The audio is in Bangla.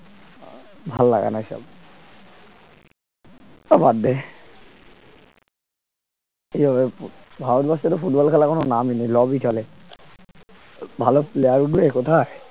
ভাল লাগে না ওইসব ও বাদ দে এইভাবে ভারতবর্ষে তো ফুটবল খেলার কোন নামই নেই lobby চলে ভাল player উঠবে কোথায়